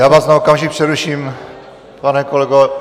Já vás na okamžik přeruším, pane kolego.